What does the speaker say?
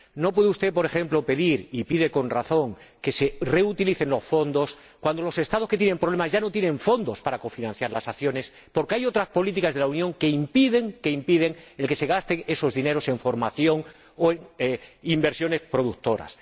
No puede usted, por ejemplo, pedir —y pide con razón— que se reutilicen los fondos cuando los Estados que tienen problemas ya no tienen fondos para cofinanciar las acciones porque hay otras políticas de la Unión que impiden que se gasten esos dineros en formación o en inversiones productivas.